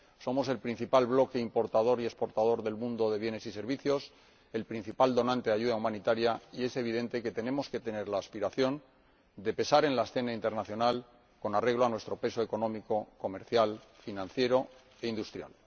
Somos el principal bloque importador y exportador de bienes y servicios del mundo y el principal donante de ayuda humanitaria y es evidente que tenemos que tener la aspiración de pesar en la escena internacional con arreglo a nuestro peso económico, comercial, financiero e industrial.